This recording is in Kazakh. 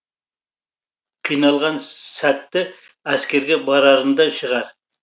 қиналған ссәтті әскерге барарында шығар